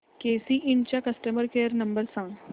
केसी इंड चा customer care number सांग